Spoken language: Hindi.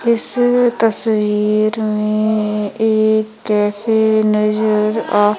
इस तस्वीर में एक कैफे नजर आ--